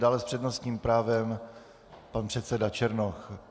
Dále s přednostním právem pan předseda Černoch.